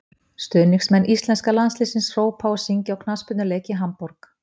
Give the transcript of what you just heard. stuðningsmenn íslenska landsliðsins hrópa og syngja á knattspyrnuleik í hamborg